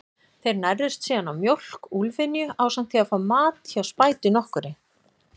Þeir nærðust síðan á mjólk úlfynju, ásamt því að fá mat hjá spætu nokkurri.